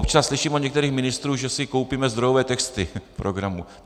Občas slyším od některých ministrů, že si koupíme zdrojové texty programu.